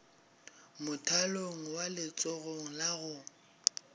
mothalong wa letsogong la go